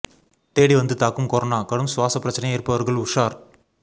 தேடி வந்து தாக்கும் கொரோனா கடும் சுவாச பிரச்னை இருப்பவர்கள் உஷார்